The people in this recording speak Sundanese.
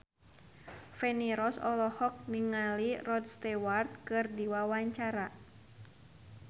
Feni Rose olohok ningali Rod Stewart keur diwawancara